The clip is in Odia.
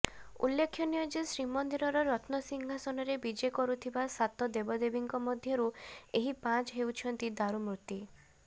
ଉଲ୍ଲେଖନୀୟ ଯେ ଶ୍ରୀମନ୍ଦିରର ରତ୍ନସିଂହାସନରେ ବିଜେ କରୁଥିବା ସାତ ଦେବଦେବୀଙ୍କ ମଧ୍ୟରୁ ଏହି ପାଞ୍ଚ ହେଉଛନ୍ତି ଦାରୁମୂର୍ତ୍ତି